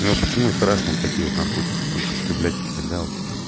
ну а почему и страшно такие вот наркотики употреблять да вот